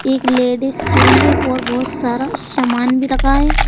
एक लेडिस खड़ी है और बहुत सारा सामान भी रखा है।